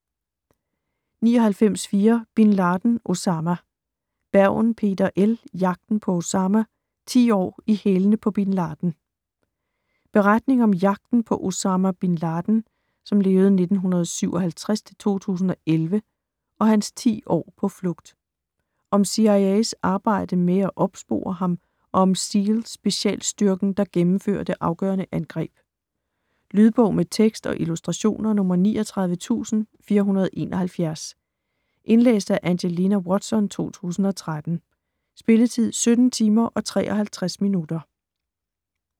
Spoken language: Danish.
99.4 Bin Laden, Osama Bergen, Peter L.: Jagten på Osama: ti år i hælene på Bin Laden Beretning om jagten på Osama Bin Laden (1957-2011) og hans 10 år på flugt. Om CIA's arbejde med at opspore ham og om SEAL-specialstyrken, der gennemfører det afgørende angreb. Lydbog med tekst og illustrationer 39471 Indlæst af Angelina Watson, 2013. Spilletid: 17 timer, 53 minutter.